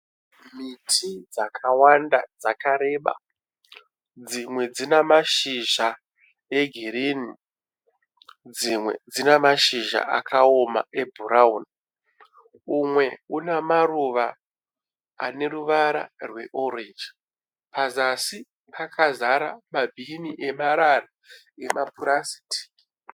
Miti dzakawanda dzakareba, dzimwe dzina mashizha egreen, dzimwe dzina mashizha akaoma ebrown, umwe una maruva ane ruvara rwe orange, pazasi pakazara mabin amarara epurastiki.